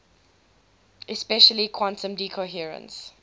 especially quantum decoherence